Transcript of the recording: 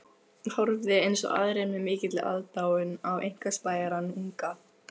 Horfði eins og aðrir með mikilli aðdáun á einkaspæjarann unga.